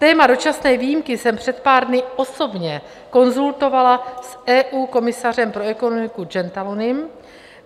Téma dočasné výjimky jsem před pár dny osobně konzultovala s EU komisařem pro ekonomiku Gentilonim.